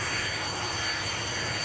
Tam üstündədir, düşməyəcək.